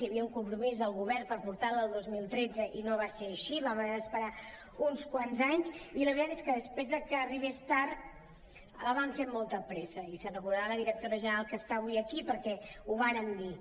hi havia un compromís del govern per portar·la el dos mil tretze i no va ser així vam haver d’esperar uns quants anys i la veritat és que després que arribés tard la vam fer amb molta pressa i se’n recordarà la directora general que està avui aquí perquè ho vàrem dir